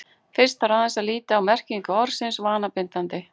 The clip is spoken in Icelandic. Fyrst þarf aðeins að líta á merkingu orðsins vanabindandi.